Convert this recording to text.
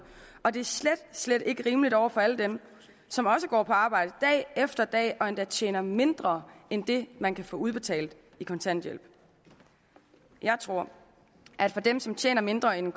og det er slet slet ikke rimeligt over for alle dem som går på arbejde dag efter dag og endda tjener mindre end det man kan få udbetalt i kontanthjælp jeg tror at for dem som tjener mindre end